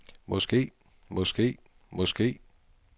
måske måske måske